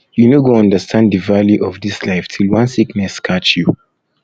you no go understand the value of dis life till one sickness catch you